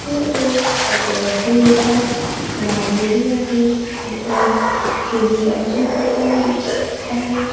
हे एक कपड्याचे दुकानं लावलेले आहे इथं खिलोन्याचे दुकान दिसतं आहे.